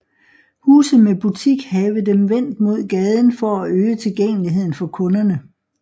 Huse med butik have dem vendt mod gaden for at øge tilgængeligheden for kunderne